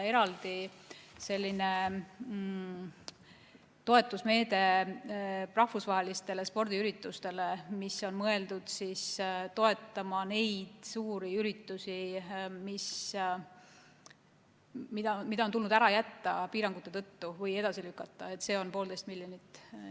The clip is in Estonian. Eraldi toetusmeede on kehtestatud rahvusvahelistele spordiüritustele, mis on tulnud piirangute tõttu ära jätta või edasi lükata, seda on poolteist miljonit.